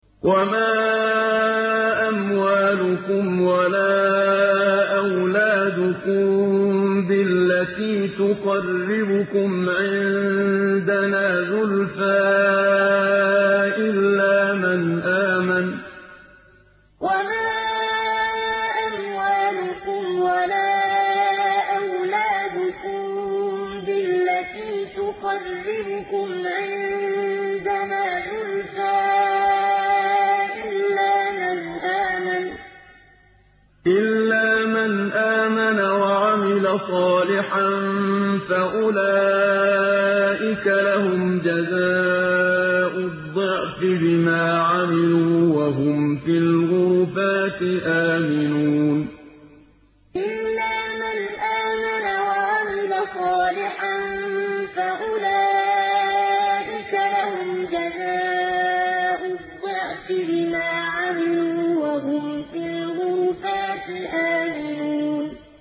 وَمَا أَمْوَالُكُمْ وَلَا أَوْلَادُكُم بِالَّتِي تُقَرِّبُكُمْ عِندَنَا زُلْفَىٰ إِلَّا مَنْ آمَنَ وَعَمِلَ صَالِحًا فَأُولَٰئِكَ لَهُمْ جَزَاءُ الضِّعْفِ بِمَا عَمِلُوا وَهُمْ فِي الْغُرُفَاتِ آمِنُونَ وَمَا أَمْوَالُكُمْ وَلَا أَوْلَادُكُم بِالَّتِي تُقَرِّبُكُمْ عِندَنَا زُلْفَىٰ إِلَّا مَنْ آمَنَ وَعَمِلَ صَالِحًا فَأُولَٰئِكَ لَهُمْ جَزَاءُ الضِّعْفِ بِمَا عَمِلُوا وَهُمْ فِي الْغُرُفَاتِ آمِنُونَ